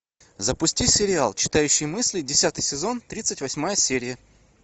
запусти сериал читающий мысли десятый сезон тридцать восьмая серия